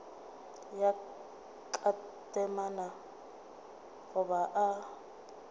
ya ka temana goba o